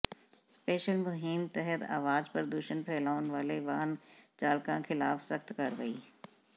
special ਮੁਹਿੰਮ ਤਹਿਤ ਅਵਾਜ਼ ਪ੍ਰਦੂਸ਼ਣ ਫੈਲਾਉਣ ਵਾਲੇ ਵਾਹਨ ਚਾਲਕਾਂ ਖਿਲਾਫ ਸਖਤ ਕਾਰਵਾਈ